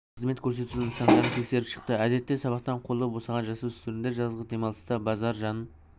мен қызмет көрсету нысандарын тексеріп шықты әдетте сабақтан қолы босаған жасөспірімдер жазғы демалыста базар жанын